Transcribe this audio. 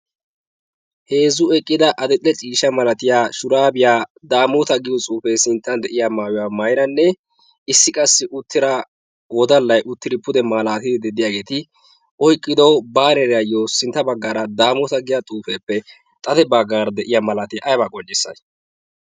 heezzu eqqida adil'e ciisha malatiya shuraabiyaa daamoota giyo cuufee sinttan de'iya maayiwaa mairanne issi qassi uttira wodallai uttidi pude malaatidi deddiyaageeti oyqqido baareeraayyo sintta baggaara daamoota giya xuufeeppe xade baggaara de'iya malaatiyaa aybaa qonccisii?